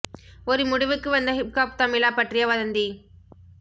ஒரு முடிவுக்கு வந்த ஹிப் ஹாப் தமிழா பற்றிய வதந்தி